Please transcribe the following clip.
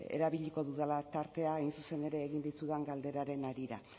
erabiliko dudala tartea hain zuzen ere egin dizudan galderaren harira